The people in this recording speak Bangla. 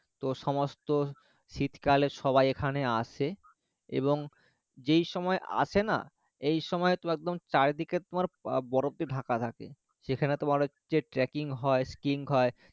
তো সমস্ত শীতকালে সবাই এখানে আসে এখন যেই সময় আসে না? এই সময় তোমার চারিদিকে একদম বরফে ঢাকা থাকে সেখানে তোমার হচ্ছে tracking হয় sky king হয়